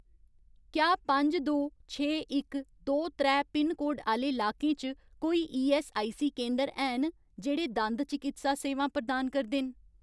क्या पंज दो, छे इक, दो त्रै पिनकोड आह्‌ले लाकें च कोई ईऐस्सआईसी केंदर हैन जेह्ड़े दंद चकित्सा सेवां प्रदान करदे न।